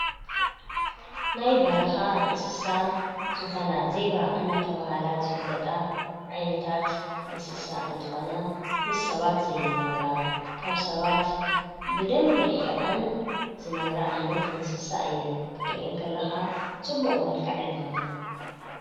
ናይ በረካ እንስሳ ዝኮና ዜብራ እንዳተባሃላ ዝፍለጣ ዓይነታት እንስሳ እንትኮና ምስ ሰባት ዘይነብራ ካብ ሰባት ብደንቢ ርሒቀን ዝነብራ ዓይነት እንስሳ እየን። ክተርእየን ከላካ ፅቡቅ መልክዕ ኣለወን።